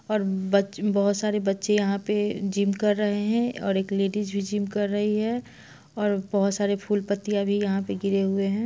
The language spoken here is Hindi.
और बच- बहोत सारे बच्चे यहाँ पे जिम कर रहे है और एक लेडीज भी जिम कर रही है और बहोत सारी फूल पत्तियाँ भी यहाँ पे गिरे हुए है।